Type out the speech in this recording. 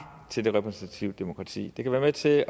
til det repræsentative demokrati det kan være med til at